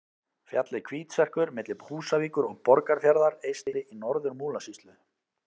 Fjallið Hvítserkur milli Húsavíkur og Borgarfjarðar eystri í Norður-Múlasýslu.